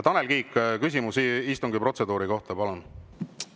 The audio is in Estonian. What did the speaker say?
Tanel Kiik, küsimus istungi protseduuri kohta, palun!